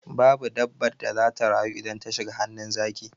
Babu dabbar da zata rayu idan ta shiga hannun zaki.